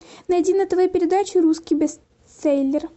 найди на тв передачу русский бестселлер